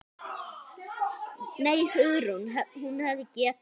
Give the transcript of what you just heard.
Nei, Hugrún, hún hefði getað.